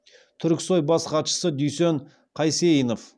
түрксой бас хатшысы дүйсен қасейінов